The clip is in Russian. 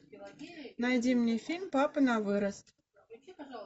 найди мне фильм папа на вырост